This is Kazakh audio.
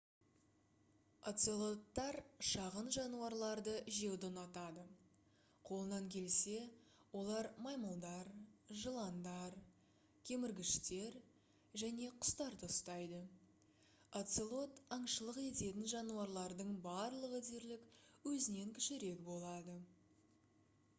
оцелоттар шағын жануарларды жеуді ұнатады қолынан келсе олар маймылдар жыландар кеміргіштер және құстарды ұстайды оцелот аңшылық ететін жануарлардың барлығы дерлік өзінен кішірек болады